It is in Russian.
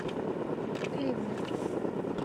ливны